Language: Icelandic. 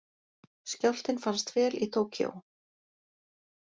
Skjálftinn fannst vel í Tókýó